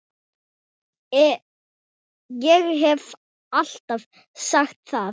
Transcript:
Ég hef alltaf sagt það.